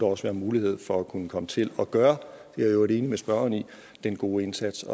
også være mulighed for at kunne komme til at gøre og øvrigt enig med spørgeren den gode indsats